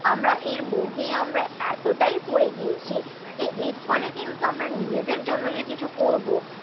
আমরা এর মোহে আমরা এতটাই পড়ে গিয়েছি, একদম একদম যে এর ফলে কিন্তু আমরা নিজেদের জন্য যে কিছু করবো,